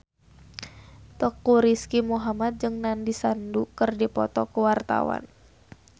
Teuku Rizky Muhammad jeung Nandish Sandhu keur dipoto ku wartawan